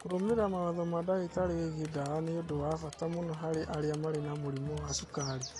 Kũrũmĩrĩra mawatho ma ndagĩtarĩ wĩgiĩ ndawa nĩ ũndũ wa bata mũno harĩ arĩa marĩ na mũrimũ wa cukari.